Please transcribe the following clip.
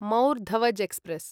मौर् धवज् एक्स्प्रेस्